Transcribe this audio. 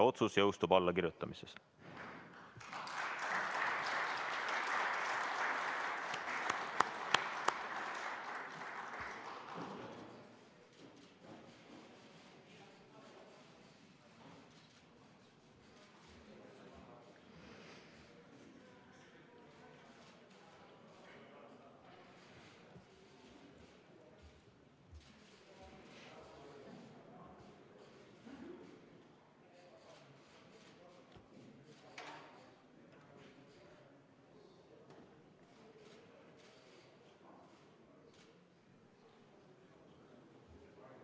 Otsus jõustub allakirjutamisest.